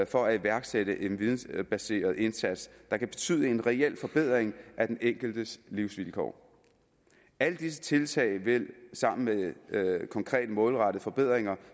for at iværksætte en vidensbaseret indsats der kan betyde en reel forbedring af den enkeltes livsvilkår alle disse tiltag sammen med konkrete målrettede forbedringer